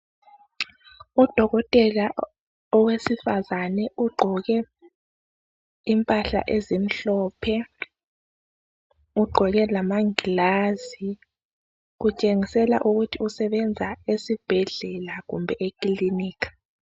Udokotela owesifazane ugqoke impahla ezimhlophe, ugqoke lamangilazi kutshengisela ukuthi usebenza esibhedlela kumbe ekilinika.